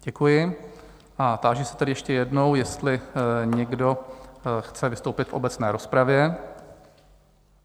Děkuji a táži se tedy ještě jednou, jestli někdo chce vystoupit v obecné rozpravě?